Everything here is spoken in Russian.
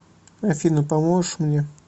афина поможешь мне